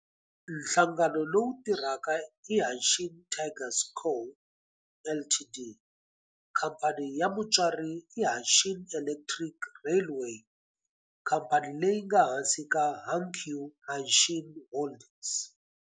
Nhlangano lowu tirhaka i Hanshin Tigers Co., Ltd. Khamphani ya mutswari i Hanshin Electric Railway, khamphani leyi nga ehansi ka Hankyu Hanshin Holdings.